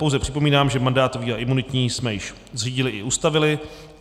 Pouze připomínám, že mandátový a imunitní jsme už zřídili a ustavili.